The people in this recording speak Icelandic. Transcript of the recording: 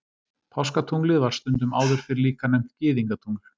Páskatunglið var stundum áður fyrr líka nefnt Gyðingatungl.